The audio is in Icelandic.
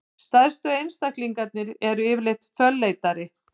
Stærstu einstaklingarnir eru yfirleitt fölleitari.